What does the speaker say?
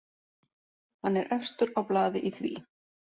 Hann er efstur á blaði í því.